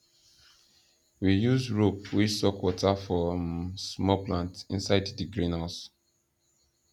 we use rope wey suck water for um small plant inside di greenhouse